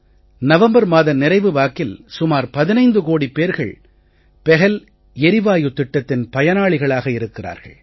November மாத நிறைவு வாக்கில் சுமார் 15 கோடி பேர்கள் பஹல் எரிவாயு திட்டத்தின் பயனாளிகளாக இருக்கிறார்கள்